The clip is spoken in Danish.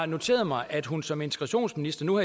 noteret mig at hun som integrationsminister nu